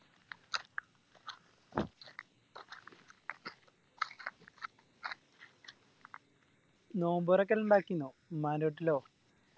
നോമ്പൊറൊക്കെ ഇണ്ടാക്കിനോ ഉമ്മൻറെ വീട്ടിലോ